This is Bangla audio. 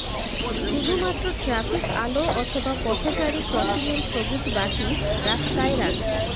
শুধুমাত্র ট্র্যাফিক আলো অথবা পথচারী ক্রসিংয়ের সবুজ বাতি রাস্তায় রাস্তায়